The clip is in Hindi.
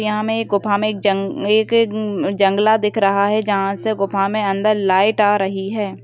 यहाँ में एक गुफा में एक जं-एक-एक-उन-जंगला दिख रहा है जहाँ से गुफा में अंदर लाइट आ रही है।